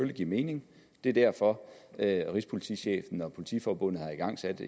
give mening det er derfor rigspolitichefen og politiforbundet har igangsat